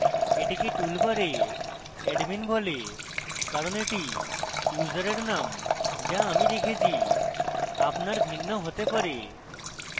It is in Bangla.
এটিকে টুলবারে admin বলে কারণ এটি ইউসারের নাম যা আমি রেখেছি আপনার ভিন্ন হতে bar